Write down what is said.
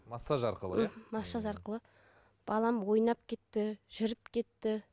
массаж арқылы иә мхм массаж арқылы балам ойнап кетті жүріп кетті